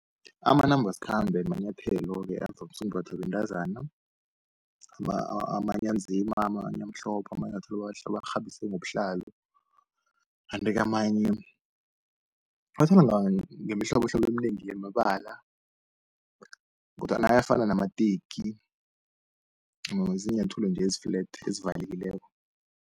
Amanambasikhambe manyathelo-ke avamise ukumbathwa bentazana, amanye anzima amanye amhlophe amanyathelo amahle abawakghabise ngobuhlalo. Kanti-ke amanye ngemihlobohlobo eminengi yamabala kodwana ayafana namateki ziinyathelo nje ezi flat ezivalekileko.